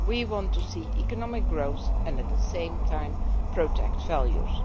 We want to see economic growth and at the same time protect values.